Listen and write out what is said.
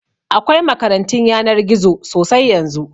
Akwai makarantun yanar gizo sosai yanzu